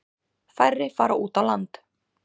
Færri fara út á land.